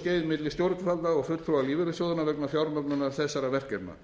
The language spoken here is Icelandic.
skeið milli stjórnvalda og fulltrúa lífeyrissjóðanna vegna fjármögnunar þessara verkefna